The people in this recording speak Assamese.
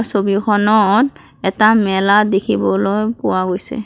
ছবিখনত এটা মেলা দেখিবলৈ পোৱা গৈছে।